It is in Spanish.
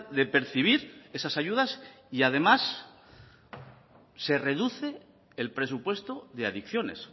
de percibir esas ayudas y además se reduce el presupuesto de adicciones